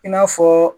I n'a fɔ